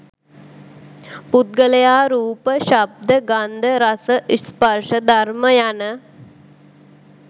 පුද්ගලයා රූප, ශබ්ද, ගන්ධ, රස, ස්පර්ශ, ධර්ම යන